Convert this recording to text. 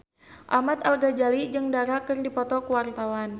Ahmad Al-Ghazali jeung Dara keur dipoto ku wartawan